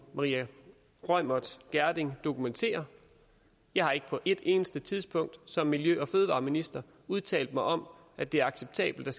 maria reumert gjerding dokumentere jeg har ikke på et eneste tidspunkt som miljø og fødevareminister udtalt mig om at det er acceptabelt at